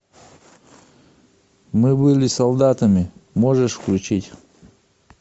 мы были солдатами можешь включить